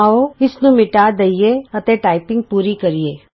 ਆਉ ਇਸਨੂੰ ਮਿਟਾ ਦਈਏ ਅਤੇ ਟਾਈਪਿੰਗ ਪੂਰੀ ਕਰੀਏ